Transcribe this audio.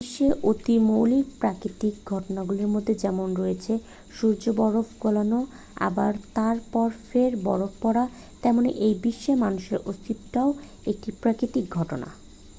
বিশ্বের অতি মৌলিক প্রাকৃতিক ঘটনাগুলির মধ্যে যেমন রয়েছে সূর্যের বরফ গলানো আবার তার পর ফের বরফ পড়া তেমনি এই বিশ্বে মানুষের অস্তিত্বটাও একটি প্রাকৃতিক ঘটনা